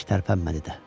Heç tərpənmədi də.